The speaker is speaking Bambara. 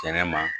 Kɛnɛma